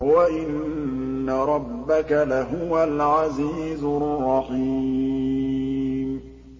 وَإِنَّ رَبَّكَ لَهُوَ الْعَزِيزُ الرَّحِيمُ